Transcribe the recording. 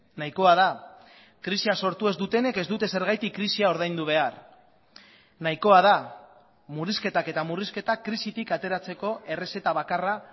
nahikoa da krisia sortu ez dutenek ez dute zergatik krisia ordaindu behar nahikoa da murrizketak eta murrizketak krisitik ateratzeko errezeta bakarra